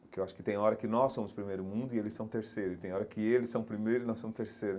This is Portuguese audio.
Porque eu acho que tem hora que nós somos o primeiro mundo e eles são o terceiro, e tem hora que eles são o primeiro e nós somos o terceiro.